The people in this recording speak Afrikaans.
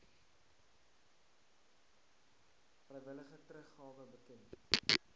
vrywillige teruggawe bekend